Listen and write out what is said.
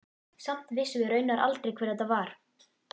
Samt vissum við raunar aldrei hver þetta var.